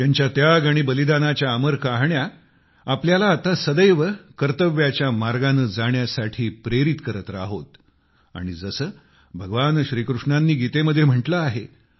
त्यांच्या त्याग आणि बलिदानाच्या अमर कहाण्या आपल्याला आता सदैव कर्तव्याच्या मार्गाने जाण्यासाठी प्रेरित करत राहोत आणि जसे भगवान श्रीकृष्णांनी गीतेमध्ये म्हटले आहे